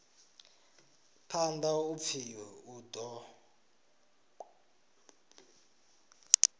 phanḓa u pfi u ḓo